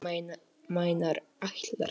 Þú meinar ætlar.